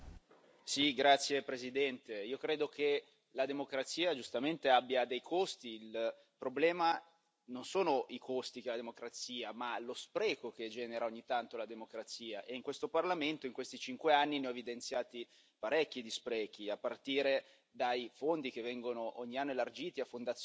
Signora Presidente, onorevoli colleghi, io credo che la democrazia, giustamente, abbia dei costi. Il problema non sono i costi della la democrazia, bensì lo spreco che genera ogni tanto la democrazia e in questo Parlamento, in questi cinque anni, ne ho evidenziati parecchi di sprechi, a partire dai fondi che vengono ogni anno elargiti a fondazioni